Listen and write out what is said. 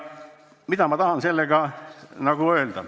Mida ma sellega öelda tahan?